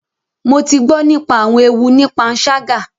Mo ti gbọ nípa awọn ewu ní panṣaga